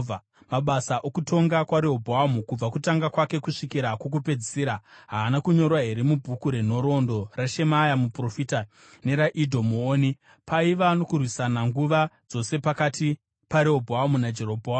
Mabasa okutonga kwaRehobhoamu kubva kutanga kwake kusvikira kwokupedzisira, haana kunyorwa here mubhuku renhoroondo raShemaya muprofita neraIdho muoni? Paiva nokurwisana nguva dzose pakati paRehobhoamu naJerobhoamu.